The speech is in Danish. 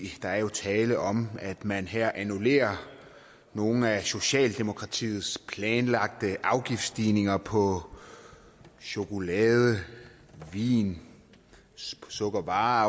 er jo tale om at man her annullerer nogle af socialdemokratiets planlagte afgiftsstigninger på chokolade vin sukkervarer